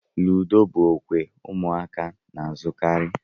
Ludo bụ okwe ụmụaka na-azukari.